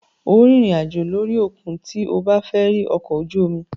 Óò rìnrìn àjò lórí òkun tí o bá fẹ́ rí ọkọ̀-ojú-omi.